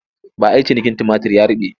Ba a yi ciniki tumatir ya ruɓe.